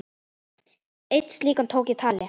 Einn slíkan tók ég tali.